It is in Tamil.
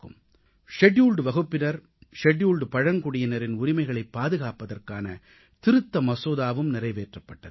ஷெட்யூல்ட் வகுப்பினர் ஷெட்யூல்ட் பழங்குடியினரின் உரிமைகளைப் பாதுகாப்பதற்கான திருத்த மசோதாவும் நிறைவேற்றப்பட்டது